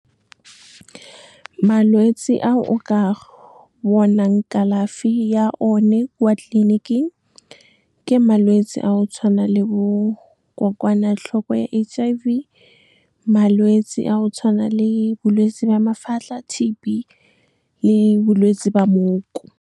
Malwetse a o ka bonang kalafi ya one kwa tleliniking ke malwetsi a go tshwana le bo kokwanatlhoko ya H_I_V, malwetse a go tshwana le bolwetse jwa mafatlha, T_B, le bolwetse ba mooko. Malwetse a o ka bonang kalafi ya one kwa tleliniking ke malwetsi a go tshwana le bo kokwanatlhoko ya H_I_V, malwetse a go tshwana le bolwetse jwa mafatlha, T_B, le bolwetse ba mooko.